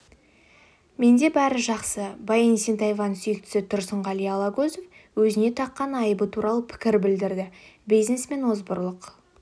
менде бәрі жақсы баян есентаеваның сүйіктісі тұрсынғали алагөзов өзіне таққан айыбы туралы пікір білдірді бизнесмен озбырлық